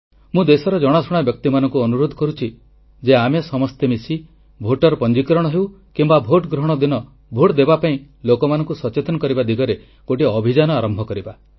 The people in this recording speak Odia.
ମୁଁ ଦେଶର ଜଣାଶୁଣା ବ୍ୟକ୍ତିମାନଙ୍କୁ ଅନୁରୋଧ କରୁଛି ଯେ ଆମେ ସମସ୍ତେ ମିଶି ଭୋଟର ପଞ୍ଜୀକରଣ ହେଉ କିମ୍ବା ଭୋଟଗ୍ରହଣ ଦିନ ଭୋଟ ଦେବା ପାଇଁ ଲୋକମାନଙ୍କୁ ସଚେତନ କରିବା ଦିଗରେ ଗୋଟିଏ ଅଭିଯାନ ଆରମ୍ଭ କରିବା